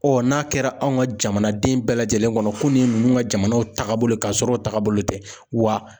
n'a kɛra anw ka jamanaden bɛɛ lajɛlen kɔnɔ ko nin ye ninnu ka jamana tagabolo ye ka sɔrɔ o tagabolo tɛ wa